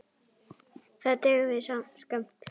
Það dugði skammt.